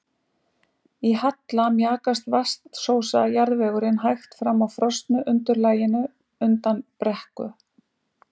Í halla mjakast vatnsósa jarðvegurinn hægt fram á frosnu undirlaginu undan brekku.